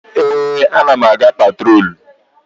Ee, a na m aga patrolu.